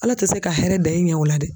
Ala tɛ se ka hɛrɛ da i ɲɛ o la dɛ.